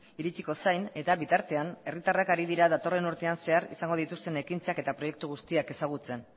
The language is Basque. iritsiko zain eta bitartean hiritarrak ari dira datorren urtean zehar izango dituzten ekintzak eta proiektu guztiak ezagutzen